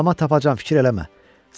Amma tapacam, fikir eləmə.